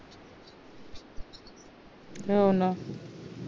हो ना